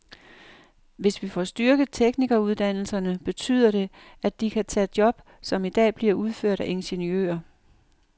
Hvis vi får styrket teknikeruddannelserne, betyder det, at de kan tage job, som i dag bliver udført af ingeniører.